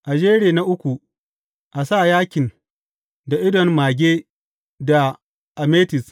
A jeri na uku, a sa yakin, da idon mage da ametis.